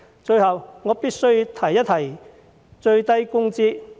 最後，我必須提一提最低工資。